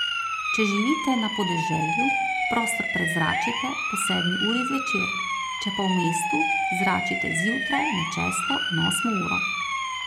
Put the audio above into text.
Če živite na podeželju, prostor prezračite po sedmi uri zvečer, če pa v mestu, zračite zjutraj med šesto in osmo uro.